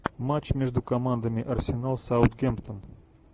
матч между командами арсенал саутгемптон